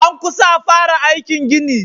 An kusa a fara aikin gini.